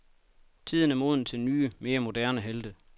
Tiden er moden til nye, mere moderne helte.